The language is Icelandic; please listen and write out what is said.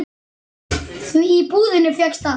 Því í búðinni fékkst allt.